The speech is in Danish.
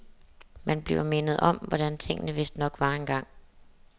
Man bliver mindet om, hvordan tingene vistnok var engang.